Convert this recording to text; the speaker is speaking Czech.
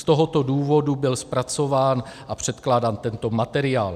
Z tohoto důvodu byl zpracován a předkládán tento materiál.